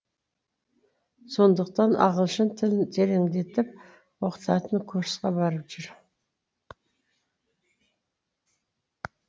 сондықтан ағылшын тілін тереңдетіп оқытатын курсқа барып жүр